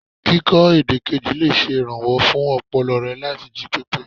Kíkọ èdè kejì lè ṣe ìrànwọ́ fún ọpọlọ re láti jí pépé.